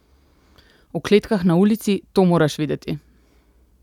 V kletkah na ulici, to moraš videti!